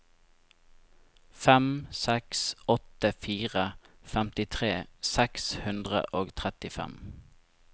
fem seks åtte fire femtitre seks hundre og trettifem